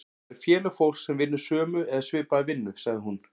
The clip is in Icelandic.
Það eru félög fólks sem vinnur sömu eða svipaða vinnu, sagði hún.